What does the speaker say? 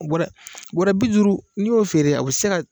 Bɔrɛ bi duuru n'i y'o feere a bɛ se ka